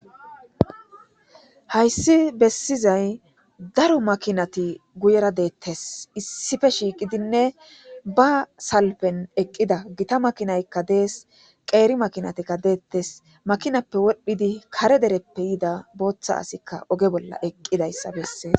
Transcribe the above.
Hayssi bessizay daro makinati guyera deettes issife shiiqidinne ba salpen eqqida gita makinaykka dees qeeri makinatikka deettes makinappe wodhdhidi kare dereppe yida booththa asikka oge bolla eqqidayssa bessee.